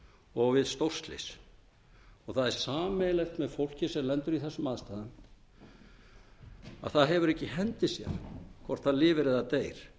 og við stórslys það er sameiginlegt með fólki sem lendir í þessum aðstæðum að það hefur það ekki í hendi sér hvort það lifir eða deyr